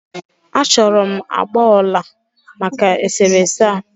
A chọrọ m agbà ọla maka e sere ese a.